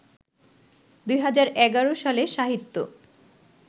২০১১ সালে সাহিত্য